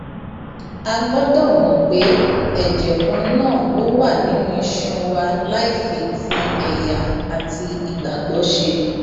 a gbọdọ mọ pé ẹjẹ kan náà ló wà nínú iṣan wa láì fi ti ẹyà àti ìgbàgbọ ṣe